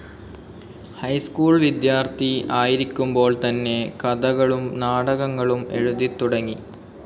High school വിദ്യാർത്ഥി ആയിരിക്കുമ്പോൾ തന്നെ കഥകളും നാടകങ്ങളും എഴുതിത്തുടങ്ങി.